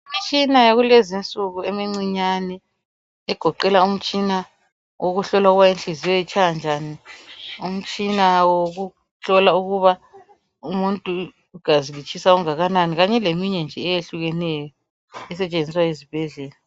Imitshina yakulezi nsuku emincinyani egoqela umtshina okuhlola ukuba inhliziyo itshaya njani ,umtshina wokuhlola ukuba umuntu igazi litshisa okungakanani kanye leminye nje eyehlukeneyo esetshenziswa ezibhedlela .